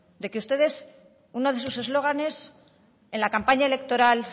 de que ustedes uno de sus eslóganes en la campaña electoral